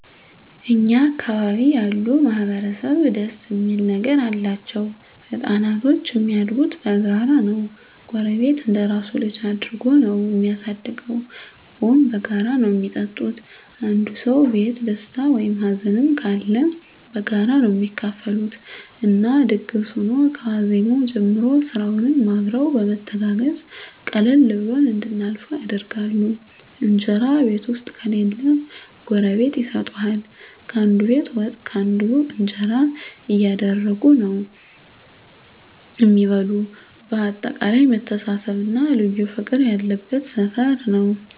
እኛ አካባቢ ያሉ ማህበረሰብ ደስ እሚል ነገር አላቸዉ። ህፃናቶች እሚያድጉት በጋራ ነዉ ጎረቤት እንደራሱ ልጅ አድርጎ ነዉ እሚያሳድገዉ፣ ቡና በጋራ ነዉ እሚጠጡት፣ አንዱ ሰዉ ቤት ደስታ ወይም ሀዘንም ካለ በጋራ ነዉ እሚካፈሉት እና ድግስ ሁኖ ከዋዜማዉ ጀምሮ ስራዉንም አብረዉ በመተጋገዝ ቀለል ብሎን እንድናልፈዉ ያደርጉናል። እንጀራ ቤት ዉስጥ ከሌለ ጎረቤት ይሰጡሀል፣ ካንዱ ቤት ወጥ ካለ ካንዱ እንጀራ እያደረጉ ነዉ እሚበሉ በአጠቃላይ መተሳሰብ እና ልዩ ፍቅር ያለበት ሰፈር ነዉ።